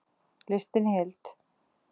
Listinn í heild